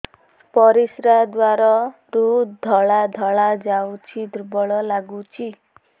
ପରିଶ୍ରା ଦ୍ୱାର ରୁ ଧଳା ଧଳା ଯାଉଚି ଦୁର୍ବଳ ଲାଗୁଚି